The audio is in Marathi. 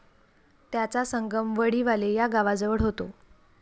त्याचा संगम वडीवाले या गावाजवळ होतो.